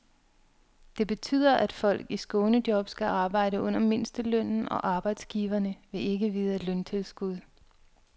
Det betyder, at folk i skånejob skal arbejde under mindstelønnen, og arbejdsgiverne vil ikke vide af løntilskud.